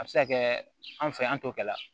A bɛ se ka kɛ anw fɛ yan an t'o kɛ la